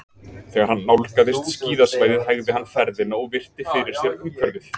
Þegar hann nálgaðist skíðasvæðið hægði hann ferðina og virti fyrir sér umhverfið.